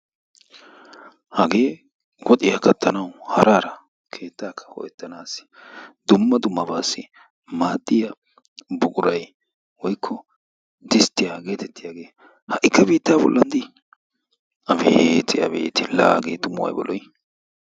Hagee woxxiyaa kattanaw hara hara keettakka loyttanassi dumma dummabassi maadiyaa buquray woykko distiya getettiyaageha'ikka biitta bolla di! abeeti abeeti! la hagee tumu aybba lo''i!